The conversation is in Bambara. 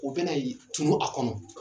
U bɛna yen tunu a kɔnɔ.